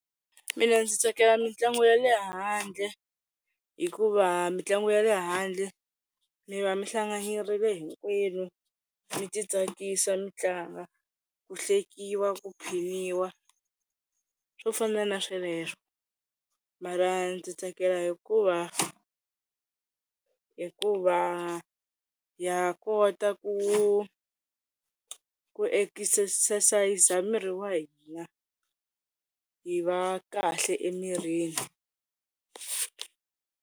Mina ndzi tsakela mitlangu ya le handle hikuva mitlangu ya le handle mi va mi hlanganyerile hinkwenu mi ti tsakisa mi tlanga, ku hlekiwi, ku , swo fana na sweleswo. Mara ndzi tsakela hikuva hikuva ha kota ku ku ekisesayiza miri wa hina hi va kahle emirini.